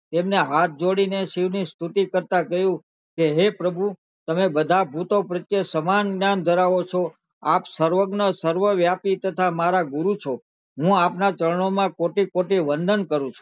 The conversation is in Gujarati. ની સ્તુતિ કરતા કહ્યું હે પ્રભુ તમે બધા ભૂતો પ્રત્યે સમાન જ્ઞાન ધરાવો છો આપ સર્વજ્ઞ સર્વ વ્યાપી છો હું આપણા ચારનો માં કોટી કોટી વંદન કરું છું